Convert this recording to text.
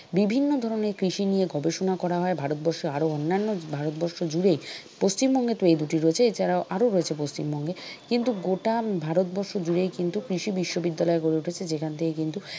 বিভিন্ন ধরনের কৃষি নিয়ে গবেষণা করা হয়। ভারতবর্ষ আরো অন্যান্য ভারতবর্ষ জুড়েই পশ্চিমবঙ্গে তো এ দুটি রয়েছে এই এছাড়াও আরো রয়েছে পশ্চিমবঙ্গে কিন্তু গোটা ভারতবর্ষ জুড়েই কিন্তু কৃষি বিশ্ববিদ্যালয় গড়ে উঠেছে যেখান থেকে কিন্তু,